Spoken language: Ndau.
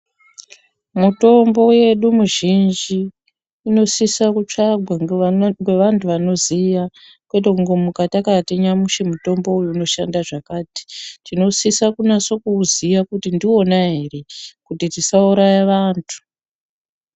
Mutombo wedu muzhinji unosisa kutsvagwa ngevandu vanoziva kwete kungomuka takati nyamushi mutombo uwu unoshanda zvakati tinosisa kunatso kuwuziya kuti ndiwona here kuti tisauraya vantu.